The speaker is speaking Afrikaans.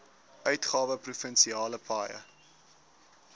uitgawe provinsiale paaie